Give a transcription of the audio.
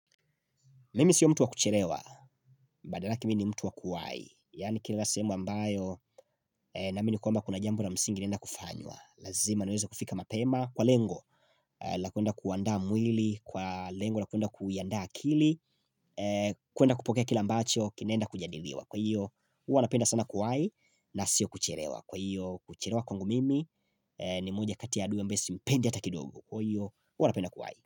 Mimi sio mtu wa kucherewa, badala yake mii ni mtu wa kuwahi Yaani kila sehemu ambayo na amini kwamba kuna jambo na msingi naenda kufanywa Lazima naweze kufika mapema kwa lengo la kuenda kuandaa mwili, kwa lengo la kuenda kuiandaa akili kuenda kupokea kile ambacho, kinaenda kujadiliwa Kwa hiyo, huwa napenda sana kuwahi na sio kucherewa Kwa hiyo, kucherewa kwangu mimi ni moja kati ya adui ambaye simpendi hata kidogo Kwa hiyo, huwa napenda kuwai.